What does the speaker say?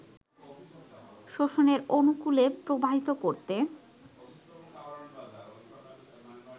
শোষণের অনুকূলে প্রবাহিত করতে